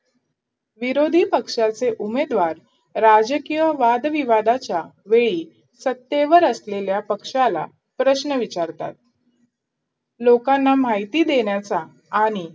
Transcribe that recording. विरोधी पक्षाचे उमेदवार राजकीय वादविवादाच्या वेळी सत्तेवर असलेल्या पक्षाला प्रश्न विचारतात लोकांना माहिती देण्याचा आणि